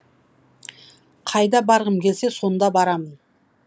қайда барғым келсе сонда барамын